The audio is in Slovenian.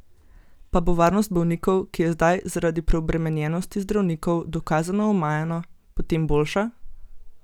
Pa bo varnost bolnikov, ki je zdaj zaradi preobremenjenosti zdravnikov dokazano omajana, potem boljša?